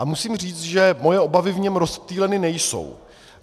A musím říct, že moje obavy v něm rozptýleny nejsou.